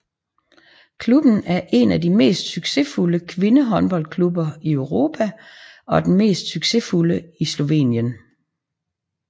Klubben er en af de mest succesfulde kvindehåndboldklubber i Europa og den mest succesfulde i Slovenien